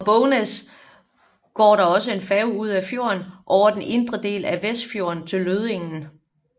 Fra Bognes går der også færge ud af fjorden over den indre del af Vestfjorden til Lødingen